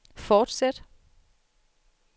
fortsæt